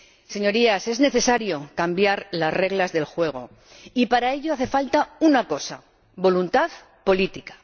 Señorías, es necesario cambiar las reglas del juego y, para ello, hace falta una cosa voluntad política.